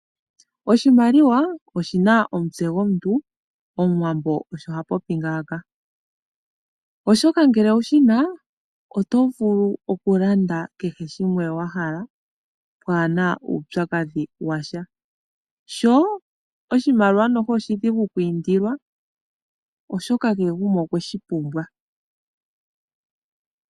"Oshimaliwa oshi na omutse gomuntu", Omuwambo osho ha popi ngaaka, oshoka ngele owu shi na, oto vulu okulanda kehe shimwe wa hala, waa na uupyakadhi wa sha. Sho oshimaliwa oshidhigu okwiindila, oshoka kehe gumwe okwe shi pumbwa.